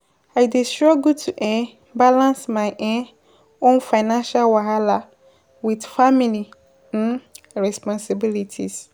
I dey struggle to um balance my um own financial wahala with family um responsibilities.